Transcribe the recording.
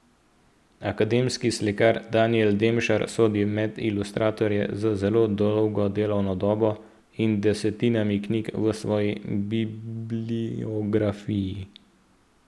Akademski slikar Danijel Demšar sodi med ilustratorje z zelo dolgo delovno dobo in desetinami knjig v svoji bibliografiji.